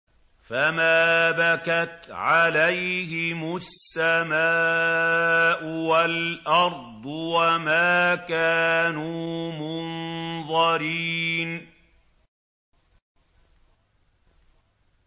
فَمَا بَكَتْ عَلَيْهِمُ السَّمَاءُ وَالْأَرْضُ وَمَا كَانُوا مُنظَرِينَ